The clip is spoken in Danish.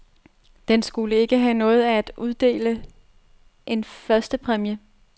Den skulle ikke have noget af at uddele en førstepræmie.